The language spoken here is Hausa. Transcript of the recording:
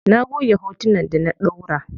Na goge hotunan da na ɗaura.